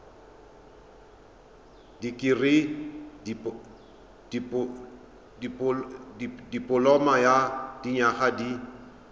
dikirii dipoloma ya dinyaga di